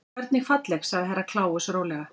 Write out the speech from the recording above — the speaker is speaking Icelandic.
Hvernig falleg sagði Herra Kláus rólega.